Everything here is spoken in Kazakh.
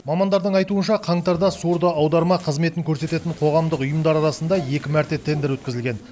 мамандардың айтуынша қаңтарда сурдоаударма қызметін көрсететін қоғамдық ұйымдар арасында екі мәрте тендер өткізілген